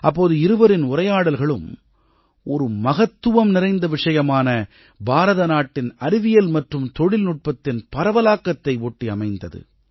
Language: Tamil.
அப்போது இருவரின் உரையாடல்களும் ஒரு மகத்துவம் நிறைந்த விஷயமான பாரத நாட்டின் அறிவியல் மற்றும் தொழில்நுட்பத்தின் பரவலாக்கத்தை ஒட்டி அமைந்தது